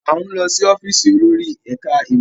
À ń lọ sí ọ́fíìsì olórí ẹ̀ka-ìmọ̀.